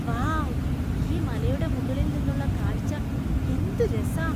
Wow ! ഈ മലയുടെ മുകളിൽ നിന്നുള്ള കാഴ്ച എന്ത് രസാ!